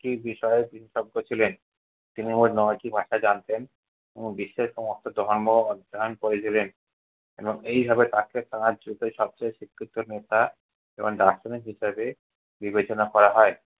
বিষয়ে বিশেষজ্ঞ ছিলেন। তিনি মোট নয়টি ভাষা জানতেন ও বিশ্বের ধর্ম অধ্যায়ন করেছিলেন। এবং এইভাবে তাকে তার যুগের সবচেয়ে স্বীকৃত নেতা এবং দার্শনিক হিসাবে বিবেচনা করা হয়।